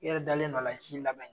I yɛrɛ dalen do ala u t'i lamɛn